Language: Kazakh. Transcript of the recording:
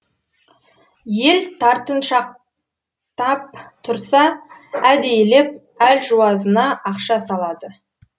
ел тартыншақтап тұрса әдейілеп әлжуазына ақша салады